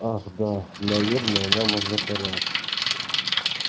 ах да наверное нам уже пора